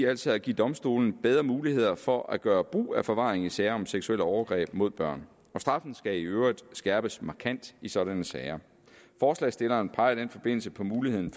altså at give domstolene bedre mulighed for at gøre brug af forvaring i sager om seksuelle overgreb mod børn og straffen skal i øvrigt skærpes markant i sådanne sager forslagsstilleren peger i den forbindelse på muligheden